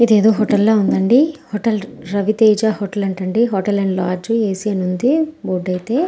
ఇదేదో హోటల్ లాగా ఉంది హోటల్ రవితేజ హోటల్ అంతండి హోటల్ అండ్ లొడజ్ ఏ_సీ ఉంది --